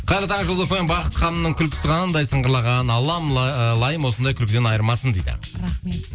қайырлы таң жұлдыз фм бақыт ханымның күлкісі қандай сыңғырлаған аллам ыыы лайым осындай күлкіден айырмасын дейді рахмет